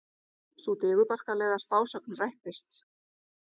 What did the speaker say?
Sú digurbarkalega spásögn rættist.